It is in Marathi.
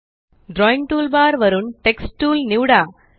ड्रॉइंग टूलबार वरून टेक्स्ट टूल निवडा